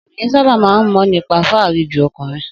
Obinrin sábà máa ń mọ̀ nípa fáàrí ju ọkùnrin